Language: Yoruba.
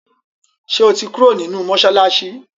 ṣe o tí Kúrò nínú masalasi?